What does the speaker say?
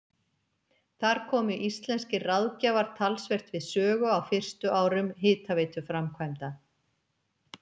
Þar komu íslenskir ráðgjafar talsvert við sögu á fyrstu árum hitaveituframkvæmda.